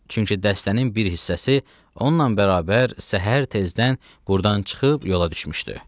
Çünki dəstənin bir hissəsi onunla bərabər səhər tezdən qurdan çıxıb yola düşmüşdü.